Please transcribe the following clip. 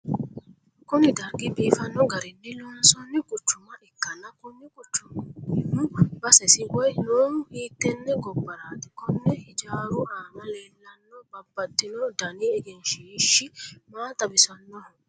kuni dargi biifanno garinni loonsoonni quccuma ikkanna, konni quchumihu basesi woyi noohu hiittenne gobbaraati? konne hijaaru aana leellanno babbaxino dani egenshiishshi maa xawisannoho?